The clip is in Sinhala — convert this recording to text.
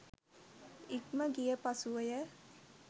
ඉක්ම ගිය පසුවය.